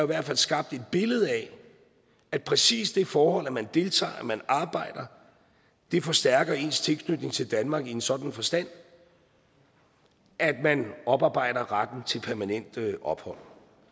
hvert fald skabt et billede af at præcis det forhold at man deltager og at man arbejder forstærker ens tilknytning til danmark i en sådan forstand at man oparbejder retten til permanent ophold